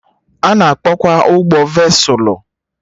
Ana akpọ kwa ụgbọ vesụlụ